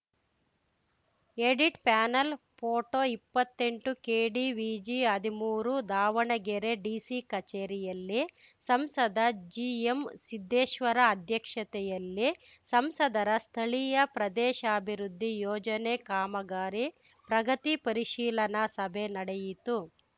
edit panel photo ಇಪ್ಪತ್ತೆಂಟುಕೆಡಿವಿಜಿಹದಿಮೂರು Davanagere DC ಕಚೇರಿಯಲ್ಲಿ ಸಂಸದ ಜಿಎಂಸಿದ್ದೇಶ್ವರ ಅಧ್ಯಕ್ಷತೆಯಲ್ಲಿ ಸಂಸದರ ಸ್ಥಳೀಯ ಪ್ರದೇಶಾಭಿವೃದ್ಧಿ ಯೋಜನೆ ಕಾಮಗಾರಿ ಪ್ರಗತಿ ಪರಿಶೀಲನಾ ಸಭೆ ನಡೆಯಿತು